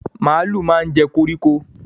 Màlúù máa ń jẹ́ koríko